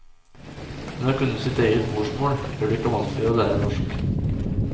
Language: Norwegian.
Men å kunne sitt eget morsmål gjør det ikke vanskeligere å lære norsk.